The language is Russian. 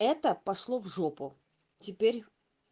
это пошло в жопу теперь